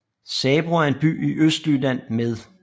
Sabro er en by i Østjylland med